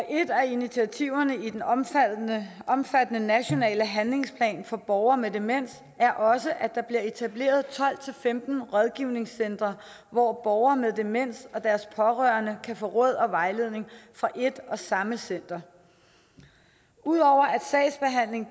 et af initiativerne i den omfattende omfattende nationale handlingsplan for borgere med demens er også at der bliver etableret tolv til femten rådgivningscentre hvor borgere med demens og deres pårørende kan få råd og vejledning fra et og samme center ud over